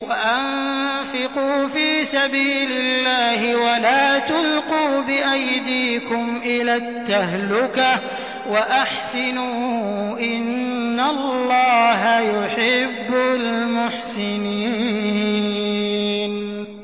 وَأَنفِقُوا فِي سَبِيلِ اللَّهِ وَلَا تُلْقُوا بِأَيْدِيكُمْ إِلَى التَّهْلُكَةِ ۛ وَأَحْسِنُوا ۛ إِنَّ اللَّهَ يُحِبُّ الْمُحْسِنِينَ